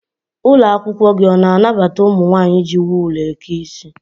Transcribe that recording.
Ụlọakwụkwọ gị ọ na-anabata ụmụ nwaanyị iji wul eke isi?